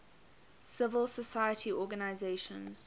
civil society organizations